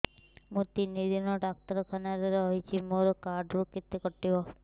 ମୁଁ ତିନି ଦିନ ଡାକ୍ତର ଖାନାରେ ରହିଛି ମୋର କାର୍ଡ ରୁ କେତେ କଟିବ